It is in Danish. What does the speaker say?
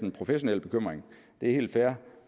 en professionel bekymring det er helt fair